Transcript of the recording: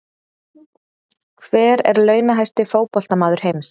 Hver er launahæsti fótboltamaður heims?